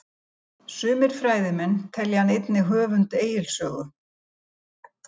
sumir fræðimenn telja hann einnig höfund egils sögu